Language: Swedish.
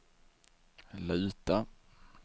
luta